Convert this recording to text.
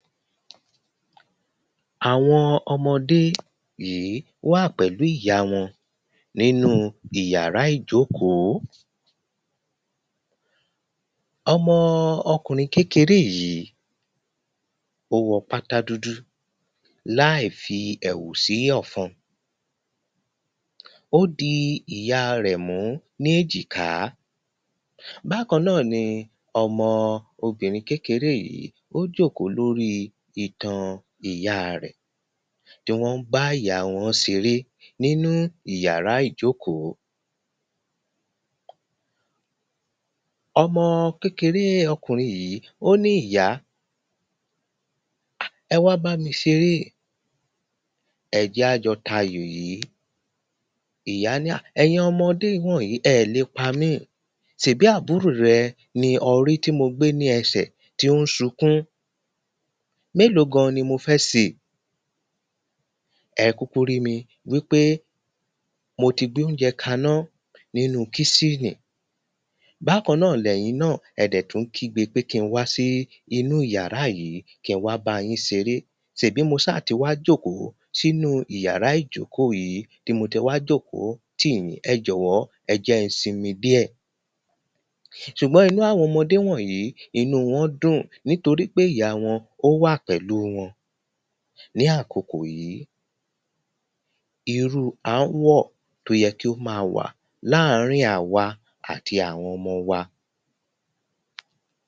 Awọn ọmọdé yìí wà pẹ̀lú ìyá wọn nínú ìyàrá ìjókòó. ọmọ ọkunrín kékére yìí o wọ́ pátá dúdú láì fi ẹ̀wù sí ọ̀fún. Ó di ìyá rẹ̀ mu ní èjìká. Bákan na ni ọmọ obìnrín kékére yìí o jó kò lorí ítan ìyá rẹ̀ ni wọn bá ìyá wọn ṣe ré nínú ìyàrá ìjókòó. ọmọ kékére ọkunrín yìí o ní ìyá, ẹ wá bá mi ṣe re, ẹ́ ja jọ ta ayò yìí, ìyá ni ah, ẹyín ọmọdé wọǹyí ẹ le pá mí, ṣèbí abúrò rẹ ní ọ́ ri tí mo gbé ni ẹsẹ̀ tí o n sunkún Mélo gán ní mó fẹ́ ṣe? ẹ́ kúkú ri mí wí pe mó tí gbé ounjẹ́ ka ná nínú kiṣhínì. Bákan náa lẹ yín náa ẹ́ dẹ̀ tún kí gbe pe kin wa si ìyàrá yìí ki n wá bá yín ṣe re. ṣe bí mo ṣá ti wa jókòó sí nu ìyàrá ìjókòó yìí ní mo tiwá jókòó ti yin, ẹ jọ wọ ẹ jẹ n sin mi díe ṣùgbọ́n inú awọn ọmọdé wonyìí inú wọn dun nítorí pe ìyá wọn o wa pẹ̀lú wọn ni akòkò yìí. Irú anwọ to yẹ ki o ma wà láàrín àwa àti awọn ọmọ wa